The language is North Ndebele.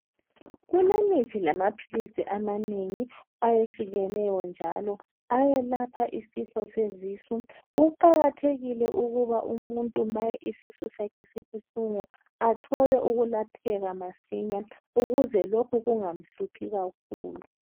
Kulemithi lamaphilisi amanengi ayehlukeneyo njalo ayelapha isifo sezisu kuqakathekile ukuba umuntu ma isisu sakhe sibuhlungu athole ukulapheka masinya ukuze lokhu kungamhluphi kakhulu.